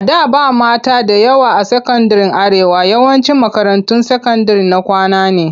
A da ba mata da yawa a sakandiren Arewa. yawancin makarantun sakandire na kwana ne.